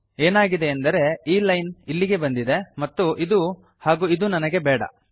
ಏನಾಗಿದೆಯೆಂದರೆ ಈ ಲೈನ್ ಇಲ್ಲಿಗೆ ಬಂದಿದೆ ಮತ್ತು ಇದು ಹಾಗೂ ಇದು ನನಗೆ ಬೇಡ